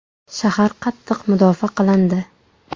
Shahar qattiq mudofaa qilindi.